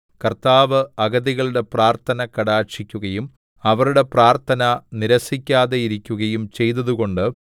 കർത്താവ് അഗതികളുടെ പ്രാർത്ഥന കടാക്ഷിക്കുകയും അവരുടെ പ്രാർത്ഥന നിരസിക്കാതെയിരിക്കുകയും ചെയ്തതുകൊണ്ട്